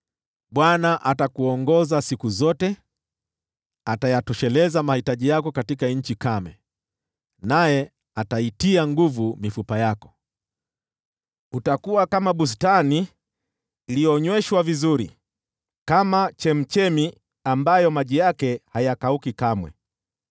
Bwana atakuongoza siku zote, atayatosheleza mahitaji yako katika nchi kame, naye ataitia nguvu mifupa yako. Utakuwa kama bustani iliyonyweshwa vizuri, kama chemchemi ambayo maji yake hayakauki kamwe.